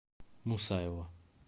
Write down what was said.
мусаева